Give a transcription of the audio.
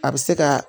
A bɛ se ka